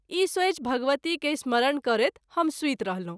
ई सेचि भगवती के स्मरण करैत हम सुति रहलहुँ।